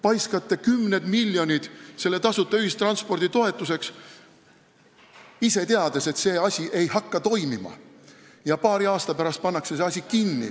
Paiskate kümned miljonid tasuta ühistranspordi toetuseks, ise teades, et see asi ei hakka toimima ja paari aasta pärast pannakse see kinni.